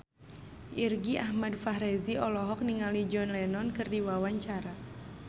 Irgi Ahmad Fahrezi olohok ningali John Lennon keur diwawancara